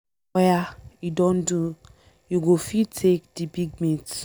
Oya e don do, you go fit take the big meat.